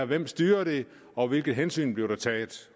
hvem styrer dem og hvilke hensyn bliver der taget